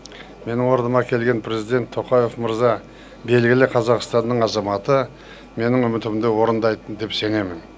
менің орныма келген президент тоқаев мырза белгілі қазақстанның азаматы менің үмітімді орындайтын деп сенемін